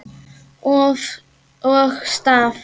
Og staf.